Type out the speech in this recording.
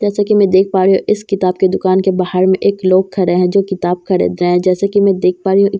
जैसा कि मैं देख पा रही हूं इस किताब की दुकान के बाहर में एक लोग खड़े है जो किताब खरीद रहे हैं जैसा कि मैं देख पा रही हूं--